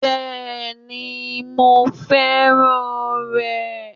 Bẹ́ẹ̀ni mo fẹ́ràn rẹ̀